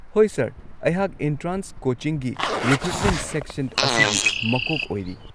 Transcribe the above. ꯍꯣꯏ ꯁꯔ, ꯑꯩꯍꯥꯛ ꯑꯦꯟꯇ꯭ꯔꯥꯟꯁ ꯀꯣꯆꯤꯡꯒꯤ ꯔꯤꯀ꯭ꯔꯨꯠꯃꯦꯟꯠ ꯁꯦꯛꯁꯟ ꯑꯁꯤꯒꯤ ꯃꯀꯣꯛ ꯑꯣꯏꯔꯤ꯫